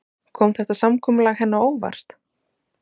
Kom þetta samkomulag henni á óvart?